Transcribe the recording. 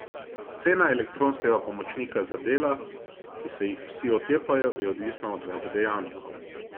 Cena elektronskega pomočnika za dela, ki se jih vsi otepajo, je odvisna od več dejavnikov.